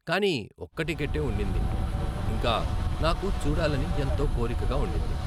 కానీ, ఒక్క టికట్టే ఉండింది, ఇంకా నాకు చూడాలని ఎంతో కోరికగా ఉండింది.